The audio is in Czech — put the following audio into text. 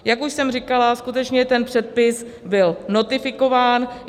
Jak už jsem říkala, skutečně ten předpis byl notifikován.